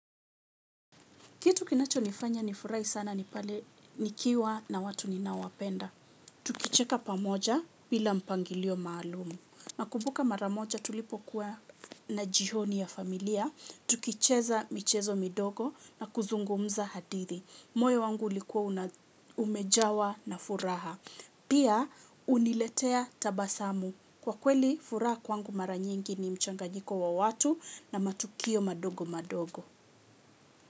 Kitu kinachonifanya nifurahi sana ni pale nikiwa na watu ninaowapenda. Tukicheka pamoja bila mpangilio maalumu. Nakumbuka mara moja tulipokuwa na jioni ya familia. Tukicheza michezo midogo na kuzungumza hadithi. Moyo wangu ulikuwa umejawa na furaha. Pia uniletea tabasamu. Kwa kweli furaha kwangu mara nyingi ni mchanganyiko wa watu na matukio madogo madogo.